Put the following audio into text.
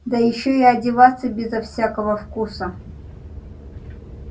да ещё и одеваться безо всякого вкуса